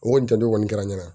O kɔni jan don kɔni kɛra n na